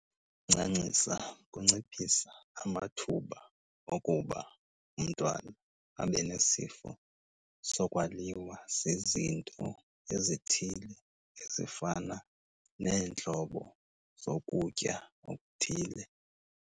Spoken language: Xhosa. Ukuncancisa kunciphisa amathuba okuba umntwana abe nesifo sokwaliwa zizinto ezithile ezifana neentlobo zokutya okuthile.